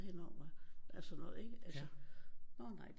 Hende om at at sådan noget ikke altså nå nej